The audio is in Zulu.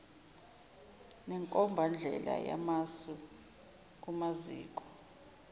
nenkombandlela yamasu kumaziko